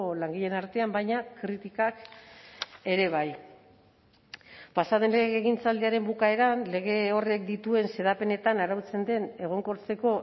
langileen artean baina kritikak ere bai pasa den legegintzaldiaren bukaeran lege horrek dituen xedapenetan arautzen den egonkortzeko